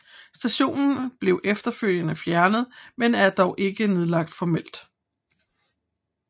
Stationen blev efterfølgende fjernet men er dog ikke nedlagt formelt